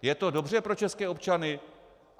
Je to dobře pro české občany?